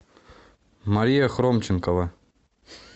мария хромченкова